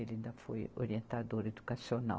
Ele ainda foi orientador educacional.